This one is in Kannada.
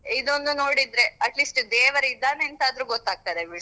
ಇದೊಂದು ನೋಡಿದ್ರೆ atleast ದೇವರು ಇದ್ದಾನೆ ಅಂತ ಆದ್ರು ಗೊತ್ತಾಗ್ತದೆ ಬಿಡು.